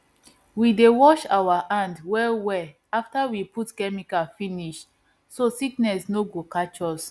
we dey wash our hand well well after we put chemicals finish so sickness no go catch us